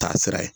Taa sira ye